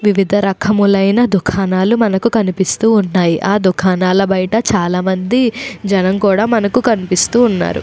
వివిధ రకములైన దుకాణాలు మనకు కనిపిస్తూ ఉన్నాయి. ఆ దుకాణాల బయట చాలా మంది జనాలు కూడా మనకీ కనిపిస్తూ ఉన్నారు.